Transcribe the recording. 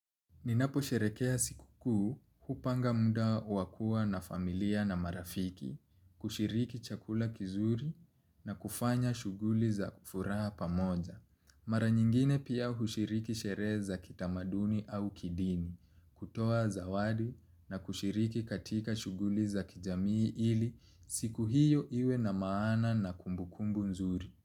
Ninapo sherekea siku kuu hupanga muda wakua na familia na marafiki, kushiriki chakula kizuri na kufanya shughuli za furaha pamoja. Mara nyingine pia hushriki sherehe za kitamaduni au kidini kutoa zawadi na kushiriki katika shughuli za kijamii ili siku hiyo iwe na maan na kumbukumbu nzuri.